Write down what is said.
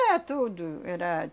Era tudo. Era...